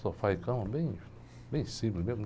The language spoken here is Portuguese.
Sofá e cama, bem, bem simples mesmo.